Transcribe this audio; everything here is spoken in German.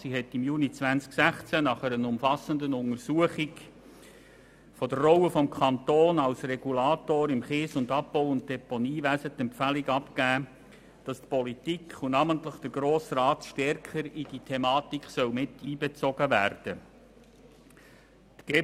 Diese hat im Juni 2016 nach einer umfassenden Untersuchung der Rolle des Kantons als Regulator im ADT-Wesen die Empfehlung abgegeben, dass die Politik, und namentlich der Grosse Rat, stärker in diese Thematik einbezogen werden soll.